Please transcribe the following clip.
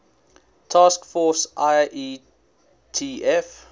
task force ietf